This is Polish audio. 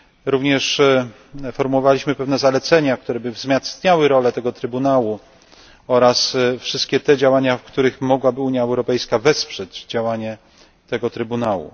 Również formułowaliśmy pewne zalecenia, które by wzmacniały rolę tego Trybunału, oraz wszystkie te działania, w których mogłaby Unia Europejska wesprzeć działanie tego Trybunału.